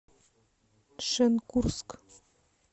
шенкурск